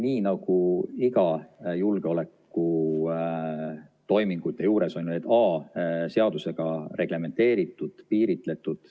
Nii nagu iga julgeolekutoimingu juures, on see ju a) seadusega reglementeeritud, piiritletud.